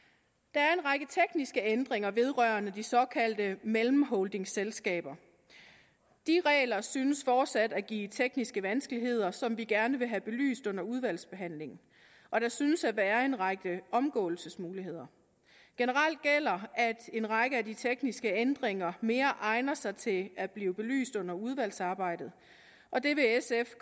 der er en række tekniske ændringer vedrørende de såkaldte mellemholdingselskaber de regler synes fortsat at give nogle tekniske vanskeligheder som vi gerne vil have belyst under udvalgsbehandlingen og der synes at være en række omgåelsesmuligheder generelt gælder at en række af de tekniske ændringer mere egner sig til at blive belyst under udvalgsarbejdet og det vil sf